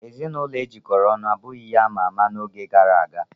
Ezinụlọ e jikọrọ ọnụ abụghị ihe ama ama n'oge gara aga.